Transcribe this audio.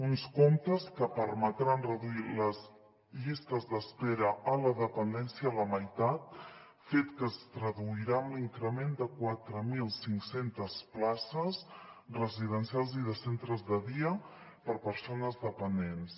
uns comptes que permetran reduir les llistes d’espera a la dependència a la meitat fet que es traduirà amb l’increment de quatre mil cinc cents places residencials i de centres de dia per a persones dependents